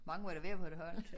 Hvor mange må der være på et hold